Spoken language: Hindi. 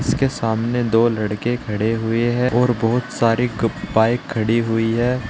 इसके सामने दो लड़के खड़े हुए है और बहुत सारे क बाइक खड़ी हुई है।